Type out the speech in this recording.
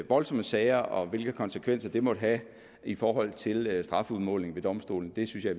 voldsomme sager og hvilke konsekvenser det måtte have i forhold til strafudmålingen ved domstolene synes jeg